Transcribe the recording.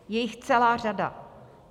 Je jich celá řada.